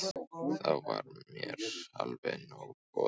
Þá var mér alveg nóg boðið.